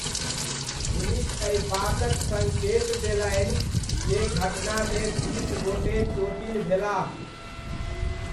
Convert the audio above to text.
Police एहि बातक सङ्केत देलनि जे घटनामे बीस गोटे चोटिल भेलाह।